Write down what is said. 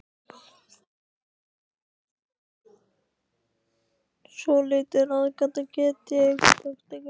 Svolítil ráðgáta, get ég sagt ykkur.